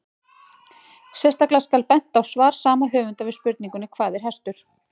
Sérstaklega skal bent á svar sama höfundar við spurningunni Hvað er hestur?